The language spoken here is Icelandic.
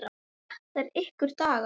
Þetta er ykkar dagur.